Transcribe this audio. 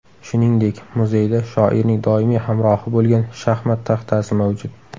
Shuningdek, muzeyda shoirning doimiy hamrohi bo‘lgan shaxmat taxtasi mavjud.